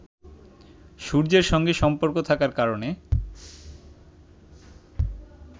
সূর্যের সঙ্গে সম্পর্ক থাকার কারণে